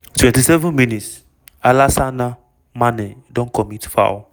27 mins- alassana manneh don commit foul.